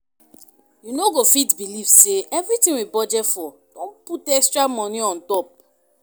You no go fit believe say everything we budget for don put extra money on top